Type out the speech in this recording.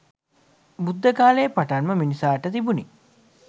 බුද්ධ කාලයේ පටන්ම මිනිසාට තිබුණි.